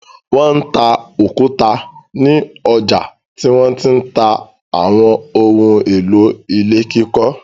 Wọ́n ta òkúta ní ọjà tí wọ́n ti ń ta àwọn ohun-èlò ilé kíkọ́.